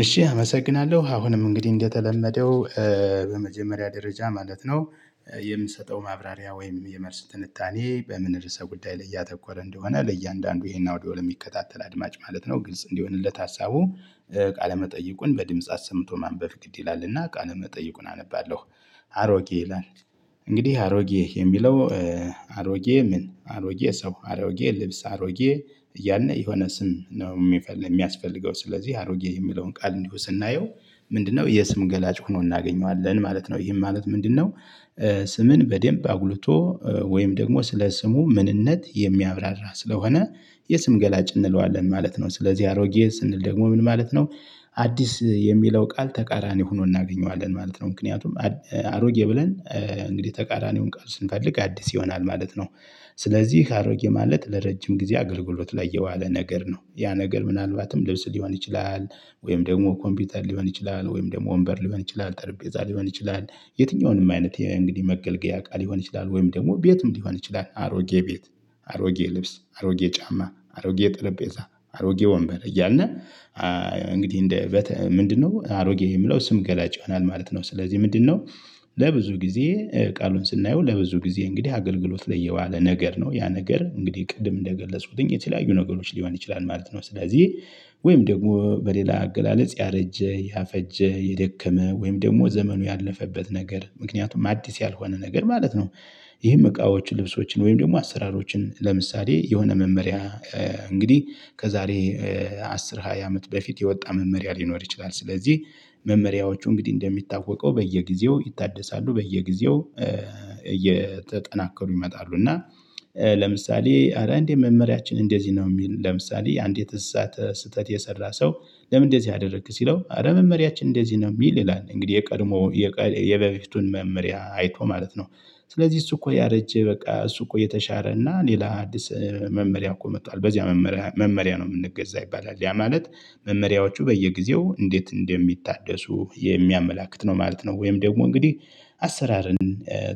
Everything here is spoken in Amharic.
እሺ አመሰግናለሁ አሁንም እንግዲህ እንደተለመደው በመጀመሪያ ደረጃ ማለት ነው። የምሰጠው ማብራሪያ ወይም የመልስ ትንታኔ በምን ርዕሰ ጉዳይ ላይ ያተኮረ እንደሆነ ለእያንዳንዱ ይሄን አውዲዮ ለሚከታተል አድማጭ ማለት ነው ግልጽ እንዲሆንለት ሀሳቡ። ቃለመጠይቁን በድምጽ አሰምቶ ማንበብ ግድ ይላልና ቃለ መጠይቁን አነባለሁ። አሮጌ ይላል። እንግዲህ አሮጌ የሚለው አሮጌ ምን አሮጌ ሰው አሮጌ ልብስ አሮጌ እያልን የሆነ ስም ነው። የሚፈልግ የሚያስፈልገው ስለዚህ አሮጌ የሚለውን ቃል እንዲሁ ስናየው ምንድነው የስም ገላጭ ሆኖ እናገኘዋለን ማለት ነው። ይሄም ማለት ምንድነው? ስምን በደንብ አጉልቶ ወይም ደግሞ ስለ ስሙ ምንነት የሚያብራራ ስለሆነ የስም ገላጭ እንለዋለን ማለት ነው። ስለዚህ አሮጌ ስንል ደግሞ ምን ማለት ነው? አዲስ የሚለው ቃል ተቃራኒ ሆኖ እናገኘዋለን ማለት ነው። ምክንያቱም አሮጌ ብለን እንግዲህ ተቃራኒውን ቃል ስንፈልግ አዲስ ይሆናል ማለት ነው። ስለዚህ አሮጌ ማለት ለረጅም ጊዜ አገልግሎት ላይ የዋለ ነገር ነው። ያ ነገር ምናልባትም ልብስ ሊሆን ይችላል። ወይም ደግሞ ኮምፒውተር ሊሆን ይችላል ወይም ደግሞ ወንበር ሊሆን ይችላል ጠረጴዛ ሊሆን ይችላል። የትኛውንም አይነት እንግዲህ መገልገያ እቃ ሊሆን ይችላል ወይም ደግሞ ቤትም ሊሆን ይችላል አሮጌ ቤት። አሮጌ ልብስ አሮጌ ጫማ አሮጌ ጠረጴዛ አሮጌ ወንበር እያልን እንግዲህ እንደ ምንድነው አሮጌ የሚለው ስም ገላጭ ይሆናል ማለት ነው። ስለዚህ ምንድነው? ለብዙ ጊዜ ቃሉን ስናየው ለብዙ ጊዜ እንግዲህ አገልግሎት ላይ የዋለ ነገር ነው ያ ነገር እንግዲህ ቅድም እንደገለጽኩትኝ የተለያዩ ነገሮች ሊሆን ይችላል ማለት ነው። ስለዚህ ወይም ደግሞ በሌላ አገላለጽ ያረጀ ያፈጀ የደከመ ወይም ደግሞ ዘመኑ ያለፈበት ነገር ምክንያቱም አዲስ ያልሆነ ነገር ማለት ነው። ይሄም እቃዎች ልብሶችን ወይም ደግሞ አሰራሮችን ለምሳሌ የሆነ መመሪያ እንግዲህ ከዛሬ አስር ሃያ አመት በፊት የወጣ መመሪያ ሊኖር ይችላል። ስለዚህ መመሪያዎቹ እንግዲህ እንደሚታወቀው በየጊዜው ይታደሳሉ በየጊዜው እየተጠናከሩ ይመጣሉ። እና ለምሳሌ አረ እንዴት መመሪያችን እንደዚህ ነው የሚል ለምሳሌ አንዲት እሳት ስህተት የሰራ ሰው። ለምን እንደዚህ አደረክ ሲለው። አረ መመሪያችን እንደዚህ ነው ሚል ይላል። እንግዲህ የቀድሞ የበፊቱን መመሪያ አይቶ ማለት ነው። ስለዚህ እሱ እኮ ያረጀ በቃ እሱ እኮ የተሻረ እና ሌላ አዲስ መመሪያ እኮ መጥቷል። በዚህ መመሪያ መመሪያ ነው የምንገዛ ይባላል ያ ማለት መመሪያዎቹ በየጊዜው እንዴት እንደሚታደሱ የሚያመላክት ነው ማለት ነው። ወይም ደግሞ እንግዲህ አሰራርን